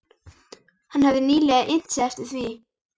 Hann hefði nýlega innt sig eftir því.